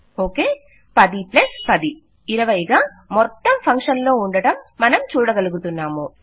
okay 1010 20 గా మొత్తం function లో ఉండడం మనం చూడగలుగుతున్నాము